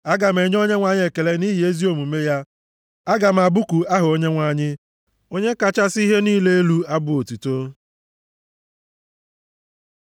Aga m enye Onyenwe anyị ekele nʼihi ezi omume ya, aga m abụku aha Onyenwe anyị, Onye kachasị ihe niile elu abụ otuto.